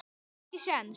Ekki séns.